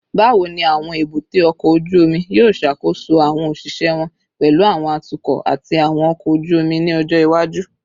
Bawo ni awọn ebute oko oju omi yoo ṣakoso awọn oṣiṣẹ wọn, pẹlu awọn atukọ ati awọn ọkọ oju omi ni ọjọ iwaju?